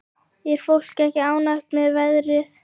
Er fólk ekki ánægt með veðrið?